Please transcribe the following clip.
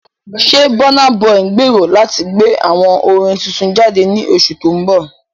Ṣé Burna Boy ń gbèrò láti gbé àwo orin tuntun jáde ní oṣù tó ń bọ̀?